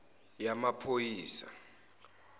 yamaphoyisa